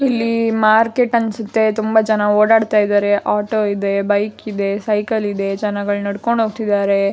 ಇಲ್ಲಿ ಮಾರ್ಕೆಟ್ ಅನ್ಸುತ್ತೆ ತುಂಬ ಜನ ಓಡಾಡ್ತಾ ಇದ್ದಾರೆ ಆಟೋ ಇದೆ ಬೈಕ್ ಇದೆ ಸೈಕಲ್ ಇದೆ ಜನಗಳು ನಡ್ಕೊಂಡ್ ಹೋಗ್ತಿದ್ದಾರೆ.